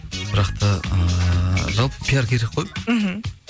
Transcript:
бірақ та ыыы жалпы пиар керек қой мхм